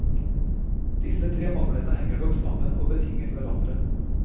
Disse tre manglene henger nok sammen og betinger hverandre.